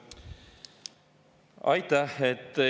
Aitäh!